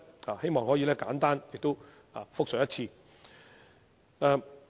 我希望可以簡單複述一次。